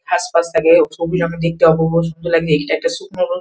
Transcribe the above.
হাসফাস থাকে ও ছবি দেখতে অনেক অপূর্ব সুন্দর লাগে এটা একটা সুন্দর।